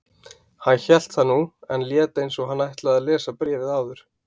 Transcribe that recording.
Hann hélt það nú, en lét eins og hann ætlaði að lesa bréfið áður.